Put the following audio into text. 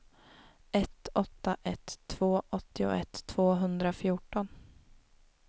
ett åtta ett två åttioett tvåhundrafjorton